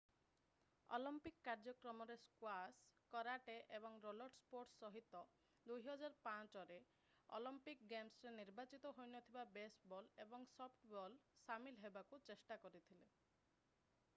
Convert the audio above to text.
Olympic କାର୍ଯ୍ୟକ୍ରମରେ squash karate ଏବଂ roller sports ସହିତ 2005ରେ ଅଲିମ୍ପିକ୍ ଗେମ୍ସରେ ନିର୍ବାଚିତ ହୋଇନଥିବା ବେସବଲ୍ ଏବଂ ସଫ୍ଟବଲ୍ ସାମିଲ ହେବାକୁ ଚେଷ୍ଟା କରିଥିଲେ